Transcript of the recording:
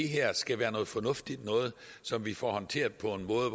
her skal være noget fornuftigt noget som vi får håndteret på en måde